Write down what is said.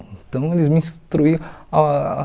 Então, eles me instruíam ah.